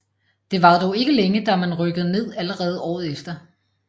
Det varede dog ikke længe da man rykkede ned allerede året efter